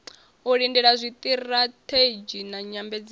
u lindela zwiṱirathedzhi na nyambedzano